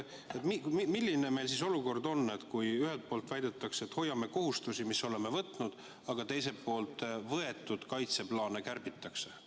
Milline meie olukord on, kui ühelt poolt väidetakse, et hoiame kohustusi, mis oleme võtnud, aga teiselt poolt kaitseplaane kärbitakse?